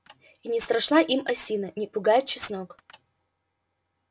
и не страшна им осина не пугает чеснок